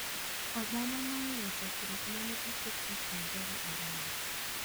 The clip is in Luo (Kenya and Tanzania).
Obama noweyo chokruok ma ne oket e kind jogo ariyo.